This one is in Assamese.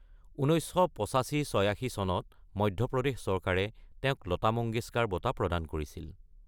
১৯৮৫–৮৬ চনত মধ্যপ্ৰদেশ চৰকাৰে তেওঁক লতা মংগেশকাৰ বঁটা প্ৰদান কৰিছিল।